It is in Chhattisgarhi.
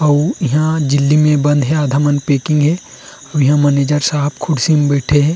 अउ इंहा झिल्ली में में बंद हे आधा मन पैकिंग हे अउ इंहा मैनेजर साहब कुर्सी में बैठे हे।